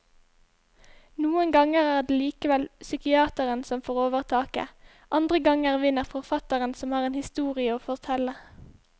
Noen ganger er det likevel psykiateren som får overtaket, andre ganger vinner forfatteren som har en historie å fortelle.